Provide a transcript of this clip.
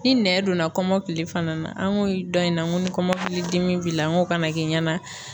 Ni nɛn donna kɔmɔkili fana na, an ko dɔn in na ko ni kɔmɔkilidimi b'i la n k'o kana kɛ ɲɛna